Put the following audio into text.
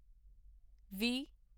ਵੀ